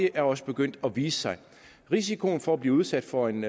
er også begyndt at vise sig risikoen for at blive udsat for en